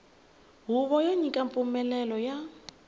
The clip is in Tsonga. huvo yo nyika mpfumelelo ya